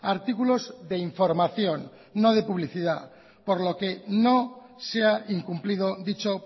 artículos de información no de publicidad por lo que no se ha incumplido dicho